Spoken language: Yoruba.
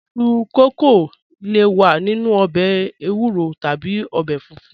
Iṣu kókó le wà nínu òbè èwúrò tàbí òbè fúnfún